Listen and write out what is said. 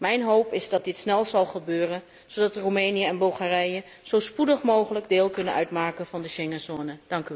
Mijn hoop is dat dit snel zal gebeuren, zodat Roemenië en Bulgarije zo spoedig mogelijk deel kunnen uitmaken van de Schengen zone.